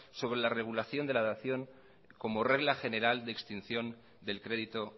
sobre la regulación de la dación como regla general de extinción del crédito